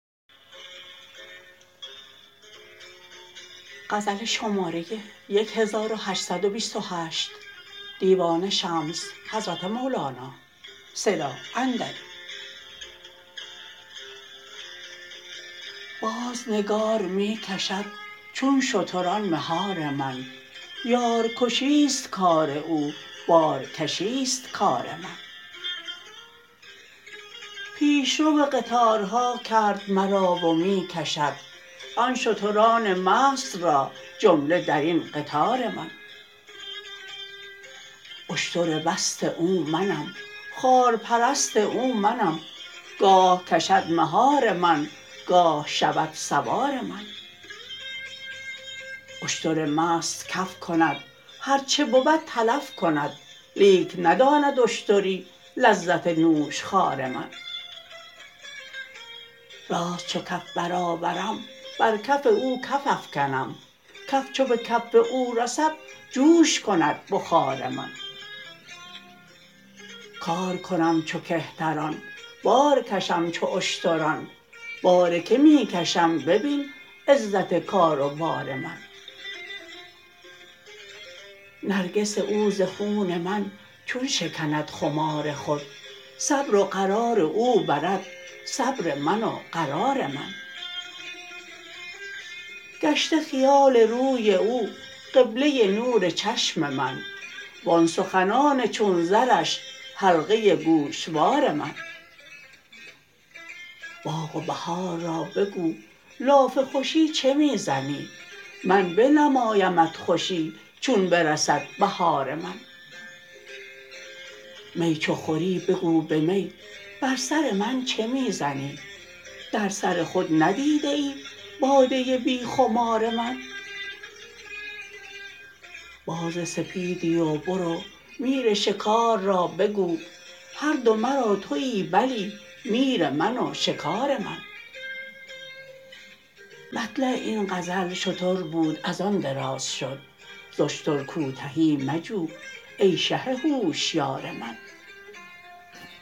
باز نگار می کشد چون شتران مهار من یارکشی است کار او بارکشی است کار من پیش رو قطارها کرد مرا و می کشد آن شتران مست را جمله در این قطار من اشتر مست او منم خارپرست او منم گاه کشد مهار من گاه شود سوار من اشتر مست کف کند هر چه بود تلف کند لیک نداند اشتری لذت نوشخوار من راست چو کف برآورم بر کف او کف افکنم کف چو به کف او رسد جوش کند بخار من کار کنم چو کهتران بار کشم چو اشتران بار کی می کشم ببین عزت کار و بار من نرگس او ز خون من چون شکند خمار خود صبر و قرار او برد صبر من و قرار من گشته خیال روی او قبله نور چشم من وان سخنان چون زرش حلقه گوشوار من باغ و بهار را بگو لاف خوشی چه می زنی من بنمایمت خوشی چون برسد بهار من می چو خوری بگو به می بر سر من چه می زنی در سر خود ندیده ای باده بی خمار من باز سپیدی و برو میر شکار را بگو هر دو مرا توی بلی میر من و شکار من مطلع این غزل شتر بود از آن دراز شد ز اشتر کوتهی مجو ای شه هوشیار من